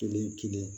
Kelen kelen